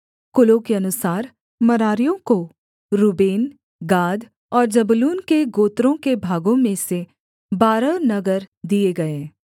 कुलों के अनुसार मरारियों को रूबेन गाद और जबूलून के गोत्रों के भागों में से बारह नगर दिए गए